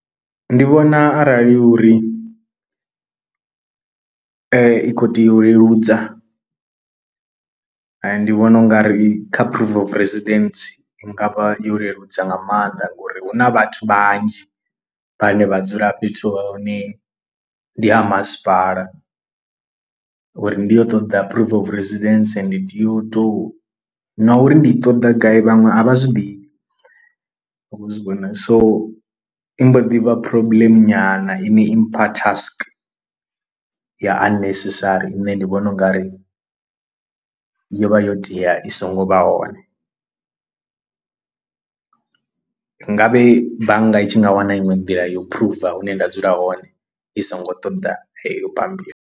Ndi vhona arali uri i khou tea u leludza ndi vhona u nga ri kha proof of residence i nga vha yo leludza nga maanḓa ngori hu na vhathu vhanzhi vhane vha dzula fhethu hune ndi ha masipala, uri ndi yo ṱoḓa proof of residence ndi tea u tou na uri ndi ṱoḓa gai vhaṅwe a vha zwiḓivhi, vha khou zwi vhona so i mbo ḓi vha problem nyana ine impha task ya unnecessary ine ndi vhona u nga ri yo vha yo tea i so ngo vha hone. Nga vhe bannga i tshi nga wana iṅwe nḓila ya u phuruva hune nda dzula hone i songo ṱoḓa heyo bambiri.